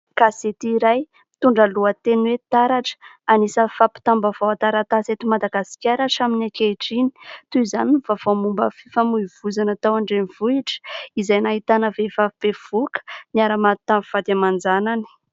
Gazety iray, mitondra lohateny hoe "TARATRA". Anisan'ny fampitam-baovao an-taratasy eto Madagasikara hatramin'ny ankehitriny. Toy izany ny vaovao momban'ny fifamoivozana tao an-drenivohitra, izay nahitana vehivavy bevoka, niara maty tamin'ny vady aman-janany.